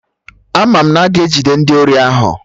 Ama m na a ga-ejide ndị ori ahụ